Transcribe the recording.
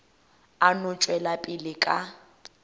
a no tšwela pele ka